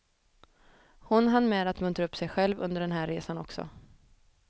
Hon hann med att muntra upp sig själv under den här resan också.